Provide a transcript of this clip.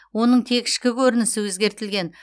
оның тек ішкі көрінісі өзгертілген